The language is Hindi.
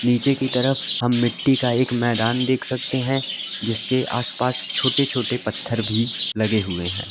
नीचे की तरफ हम मिट्टी का एक मैदान देख सकते हैं जिसके आसपास छोटे छोटे पत्थर भी लगे हुए हैं।